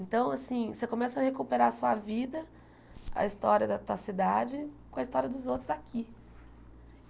Então, assim, você começa a recuperar a sua vida, a história da tua cidade, com a história dos outros aqui.